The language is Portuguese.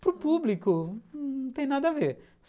Para o público, não tem nada a ver.